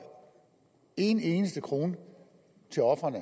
en eneste krone til ofrene